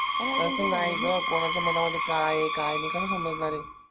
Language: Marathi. अर तस नाय ग कोणाच्या मनामध्ये काय आहे काय नाय कसा समजणारये